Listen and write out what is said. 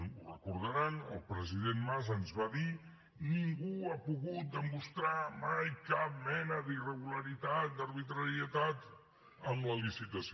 ho deuen recordar que el president mas ens va dir ningú ha pogut demostrar mai cap mena d’irregularitat d’arbitrarietat en la licitació